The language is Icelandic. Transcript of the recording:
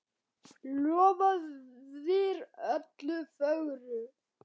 Lofaðir öllu fögru!